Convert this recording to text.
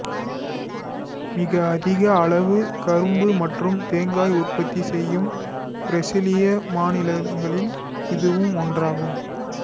மிக அதிக அளவு கரும்பு மற்றும் தேங்காய் உற்பத்தி செய்யும் பிரேசிலிய மாநிலங்களில் இதுவும் ஒன்றாகும்